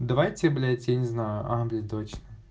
давайте блять я не знаю а блять точно